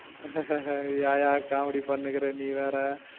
அஹ் அஹ் ஏன்யா காமெடி பண்ணிட்டு இருக்கா நீ வேற